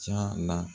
Ca la